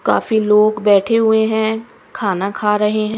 काफी लोग बैठे हुए हैं खाना खा रहे हैं।